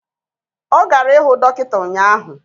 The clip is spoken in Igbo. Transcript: Ọ gara ịhụ dọkịta ụnyaahụ